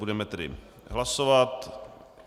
Budeme tedy hlasovat.